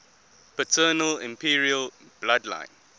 paternal imperial bloodline